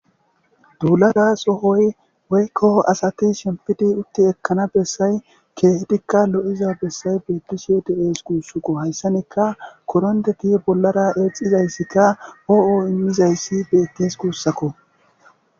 duulada sohoy weykko asati shempidi utti ekkana bessay keehedikka lo7iza bessay beettisiyo de7ees guussakko hayssanika korondeti bollara eexizayssikka hoo7o immizayssi beettes guussakko